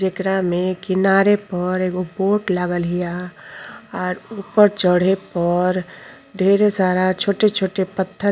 जेकरा में किनारे पर एगो बोट लागल हिया आर ऊपर चढ़े पर ढेरे सारा छोटे-छोटे पथ --